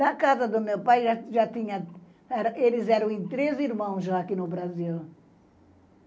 Na casa do meu pai, já tinha, eles eram em três irmãos aqui no Brasil.